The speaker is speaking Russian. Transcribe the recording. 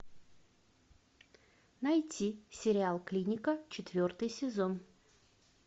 найти сериал клиника четвертый сезон